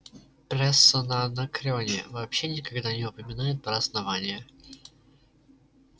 пресса на анакреоне вообще никогда не упоминает про основание